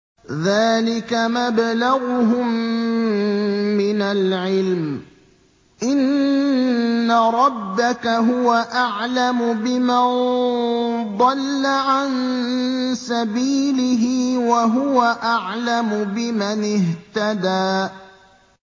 ذَٰلِكَ مَبْلَغُهُم مِّنَ الْعِلْمِ ۚ إِنَّ رَبَّكَ هُوَ أَعْلَمُ بِمَن ضَلَّ عَن سَبِيلِهِ وَهُوَ أَعْلَمُ بِمَنِ اهْتَدَىٰ